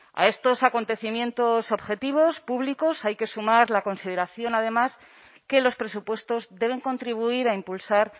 a estos acontecimientos objetivos públicos hay que sumar la consideración además que los presupuestos deben contribuir a impulsar